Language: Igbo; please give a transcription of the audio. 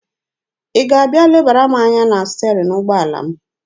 Ị ga-abịa lebara m anya na sterin ụgbọala m?